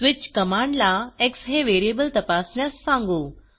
switch command ला X हे variable तपासण्यास सांगू